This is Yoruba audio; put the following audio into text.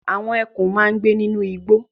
Àwọn ẹkùn máa ń gbé nínú igbó.